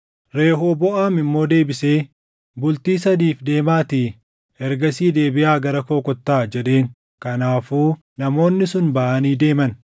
Rehooboʼaam immoo deebisee, “Bultii sadiif deemaatii ergasii deebiʼaa gara koo kottaa” jedheen. Kanaafuu namoonni sun baʼanii deeman.